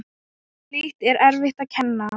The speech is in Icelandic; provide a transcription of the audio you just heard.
Slíkt er erfitt að kenna.